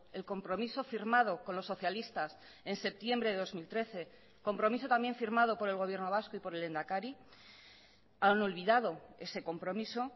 el compromiso firmado con los socialistas en septiembre de dos mil trece compromiso también firmado por el gobierno vasco y por el lehendakari han olvidado ese compromiso